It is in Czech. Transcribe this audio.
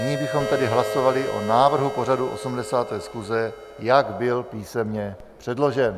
Nyní bychom tedy hlasovali o návrhu pořadu 80. schůze, jak byl písemně předložen.